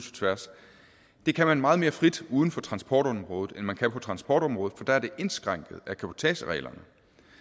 tværs det kan man meget mere frit uden for transportområdet end man kan på transportområdet for der er det indskrænket af cabotagereglerne